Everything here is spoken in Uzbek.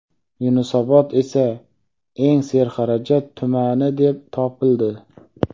Yunusobod esa eng serxarajat tumani deb topildi.